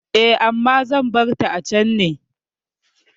Eh, amma zan barta a can ne.